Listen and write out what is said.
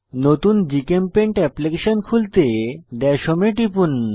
নতুন জিচেমপেইন্ট এপ্লিকেশন খুলতে দাশ হোম এ টিপুন